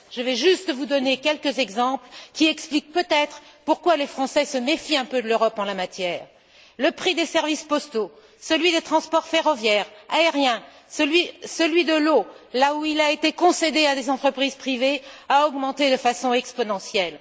Je vais juste vous donner quelques exemples qui expliquent peut être pourquoi les Français se méfient un peu de l'Europe en la matière le prix des services postaux, celui des transports ferroviaires, aériens, celui de l'eau, qui a été concédée à des entreprises privées, a augmenté de façon exponentielle.